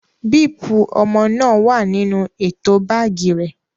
Bíípù ọmọ náà wà nínú ètò báágì rẹ̀.